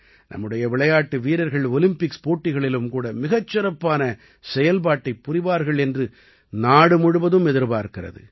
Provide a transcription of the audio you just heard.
நம்முடைய விளையாட்டு வீரர்கள் ஒலிம்பிக்ஸ் போட்டிகளும் கூட மிகச் சிறப்பான செயல்பாட்டைப் புரிவார்கள் என்று நாடு முழுவதும் எதிர்பார்க்கிறது